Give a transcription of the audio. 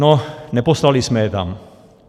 No, neposlali jsme je tam.